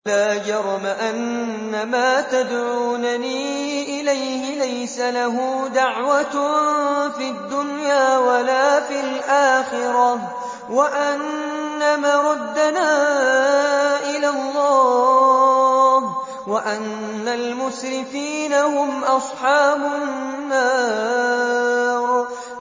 لَا جَرَمَ أَنَّمَا تَدْعُونَنِي إِلَيْهِ لَيْسَ لَهُ دَعْوَةٌ فِي الدُّنْيَا وَلَا فِي الْآخِرَةِ وَأَنَّ مَرَدَّنَا إِلَى اللَّهِ وَأَنَّ الْمُسْرِفِينَ هُمْ أَصْحَابُ النَّارِ